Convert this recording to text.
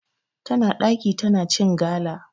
Tana ɗaki tana cin gala.